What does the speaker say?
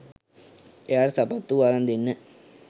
එයාට සපත්තු අරන් දෙන්න